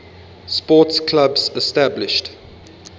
sports clubs established